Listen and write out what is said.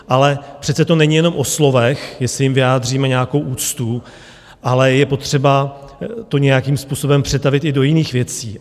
Ale přece to není jenom o slovech, jestli jim vyjádříme nějakou úctu, ale je potřeba to nějakým způsobem přetavit i do jiných věcí.